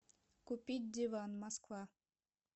купить диван москва